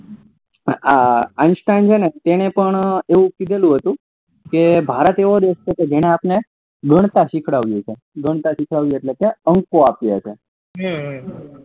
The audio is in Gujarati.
આ તેને પણ એવું ક્યેલું હતું કે ભારત દેશ છે કે જેને આપડે ગણતા સીખ્વાડ્યું ગણતા સીખ્વાડવું હતું એટલે કે અંકો આપ્યા છે હ હ